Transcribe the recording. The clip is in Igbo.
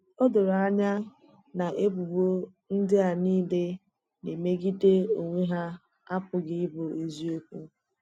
O doro anya na ebubo ndị à nile na-emegide onwe hà apụghị ịbụ èzìokwu.